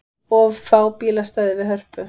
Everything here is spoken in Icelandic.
Of fá bílastæði við Hörpu